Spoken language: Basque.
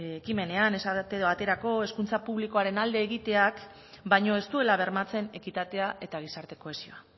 ekimenean esate baterako hezkuntza publikoaren alde egiteak baino ez dituela bermatzen ekitatea eta gizarte kohesioa